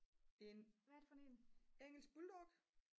en engelsk bulldog